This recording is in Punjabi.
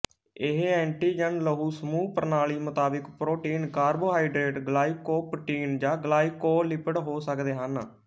ਇਹ ਐਂਟੀਜਨ ਲਹੂ ਸਮੂਹ ਪ੍ਰਨਾਲੀ ਮੁਤਾਬਕ ਪ੍ਰੋਟੀਨ ਕਾਰਬੋਹਾਈਡਰੇਟ ਗਲਾਈਕੋਪ੍ਰੋਟੀਨ ਜਾਂ ਗਲਾਈਕੋਲਿਪਿਡ ਹੋ ਸਕਦੇ ਹਨ